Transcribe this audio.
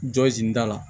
Jɔ sen da la